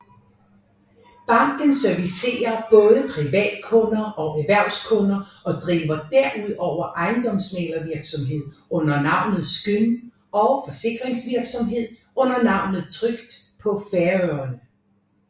Banken servicerer både privatkunder og erhvervskunder og driver derudover ejendomsmæglervirksomhed under navnet Skyn og forsikringsvirksomhed under navnet Trygd på Færøerne